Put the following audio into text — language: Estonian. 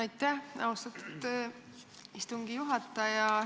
Aitäh, austatud istungi juhataja!